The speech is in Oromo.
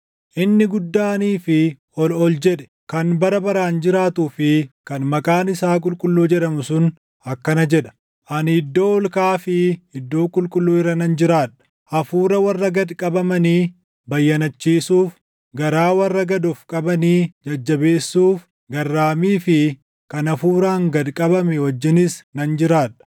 Inni guddaanii fi ol ol jedhe, kan bara baraan jiraatuu fi // kan maqaan isaa qulqulluu jedhamu sun akkana jedha: “Ani iddoo ol kaʼaa fi iddoo qulqulluu irra nan jiraadha; hafuura warra gad qabamanii bayyanachiisuuf, garaa warra gad of qabanii jajjabeessuuf garraamii fi kan hafuuraan gad qabame wajjinis nan jiraadha.